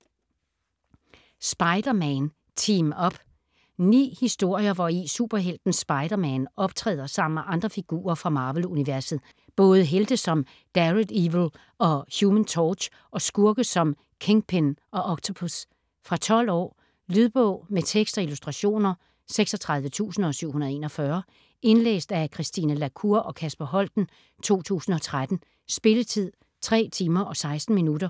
Spider-Man - team-up Ni historier, hvori superhelten Spider-Man optræder sammen med andre figurer fra Marvel-universet, både helte som Daredevil og Human Torch og skurke som Kingpin og Octopus. Fra 12 år. Lydbog med tekst og illustrationer 36741 Indlæst af Christine la Cour og Kasper Holten, 2013. Spilletid: 3 timer, 16 minutter.